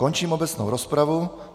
Končím obecnou rozpravu.